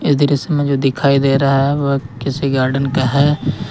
दृश्य में जो दिखाई दे रहा है वह किसी गार्डन का है।